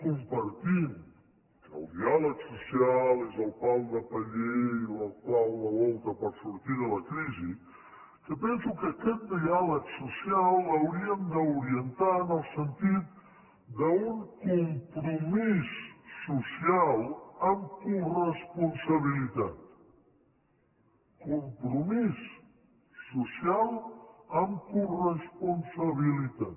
compartim que el diàleg social és el pal de paller i la clau de volta per sortir de la crisi que penso que aquest diàleg social l’hauríem d’orientar en el sentit d’un compromís social amb coresponsabilitat compromís social amb coresponsabilitat